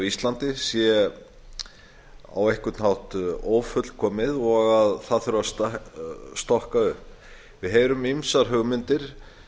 íslandi sé á einhvern hátt ófullkomið og að það þurfi að stokka upp við heyrum ýmsar hugmyndir